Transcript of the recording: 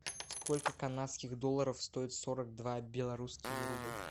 сколько канадских долларов стоит сорок два белорусский рубль